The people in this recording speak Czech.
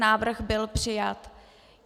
Návrh byl přijat.